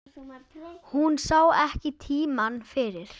Hún sá ekki tímann fyrir.